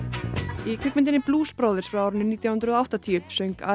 í kvikmyndinni Brothers frá árinu nítján hundruð og áttatíu söng